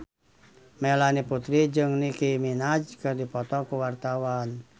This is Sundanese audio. Melanie Putri jeung Nicky Minaj keur dipoto ku wartawan